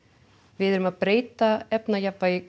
við erum að breyta